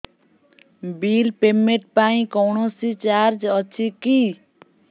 bill payment ପାଇଁ କୌଣସି charge ଅଛି କି